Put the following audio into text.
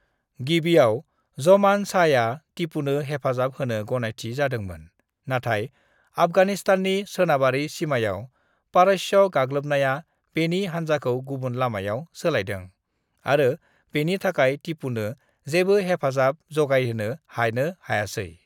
"गिबिआव, जोमान शाहया तिपुनो हेफाजाब होनो गनायथि जादोंमोन नाथाय आफगानिस्ताननि सोनाबारि सिमायाव पारश्य गागलोबनाया बेनि हानजाखौ गुबुन लामायाव सोलायदों, आरो बेनि थाखाइ तिपुनो जेबो हेफाजाब जगायहोनो हानो हायासै।"